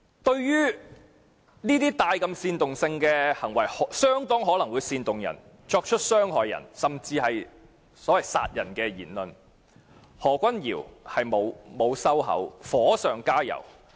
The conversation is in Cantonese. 對於如此具煽動性的行為，極可能煽動他人作出傷人甚至殺人行為的言論，何君堯議員不但沒有收口，更加火上加油。